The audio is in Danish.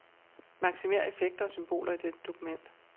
Maksimér effekter og symboler i dette dokument.